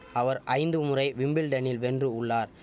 அவர் ஐந்து முறை விம்பிள்டனில் வென்று உள்ளார்